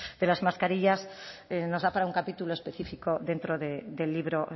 de las mascarillas nos da para capítulo específico dentro del libro